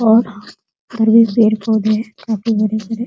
और ये पेड़ पौधे काफी बड़े-बड़े --